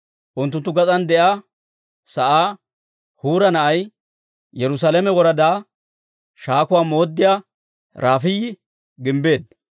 Unttunttu gas'aan de'iyaa sa'aa Huura na'ay, Yerusaalame woradaa shaakuwaa mooddiyaa Rafaayi gimbbeedda.